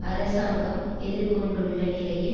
அரசாங்கம் எதிர் கொண்டுள்ள நிலையில்